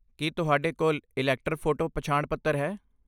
ਕੀ ਤੁਹਾਡੇ ਕੋਲ elector photo ਪਛਾਣ ਪੱਤਰ ਹੈ?